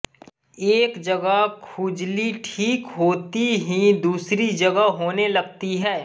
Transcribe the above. एक जगह खुजली ठीक होती ही दूसरी जगह होने लगती है